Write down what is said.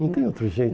Não tem outro jeito.